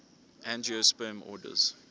angiosperm orders